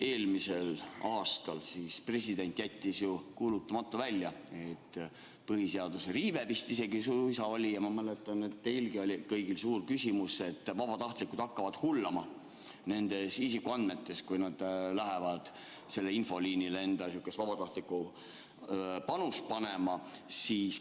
Eelmisel aastal jättis president ju välja kuulutamata, põhiseaduse riive vist isegi oli ja ma mäletan, et teilgi oli kõigil suur küsimus, kas vabatahtlikud hakkavad hullama nende isikuandmetega, kui nad lähevad infoliinile vabatahtlikku panust andma.